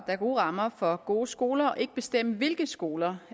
er gode rammer for gode skoler og ikke bestemme hvilke skoler